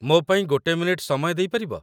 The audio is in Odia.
ମୋ ପାଇଁ ଗୋଟେ ମିନିଟ୍ ସମୟ ଦେଇପାରିବ ?